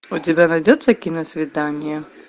у тебя найдется киносвидание